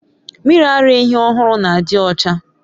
Mmiri ara ehi ohuru na adiocha